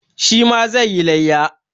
Shi ma zai yi layya.